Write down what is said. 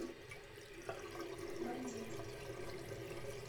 бандит